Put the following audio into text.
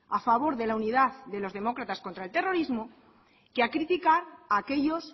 a favor de la unidad de los demócratas contra el terrorismo que a criticar aquellos